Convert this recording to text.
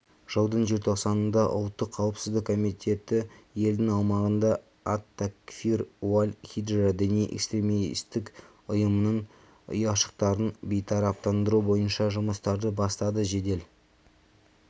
жылдың желтоқсанында ұлттық қауіпсіздік комитеті елдің аумағында ат-такфир уаль-хиджра діни-экстремистікұйымының ұяшықтарын бейтараптандыру бойынша жұмыстарды бастады жедел